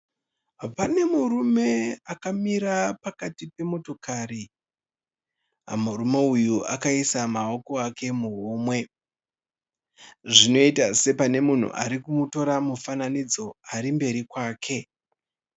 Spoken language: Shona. Pane murume akamira pakati pemotokari, murume uyu akaisa maoko ake muhomwe zvinoita sepane munhu arikumutora mufananidzo ari mberi kwake.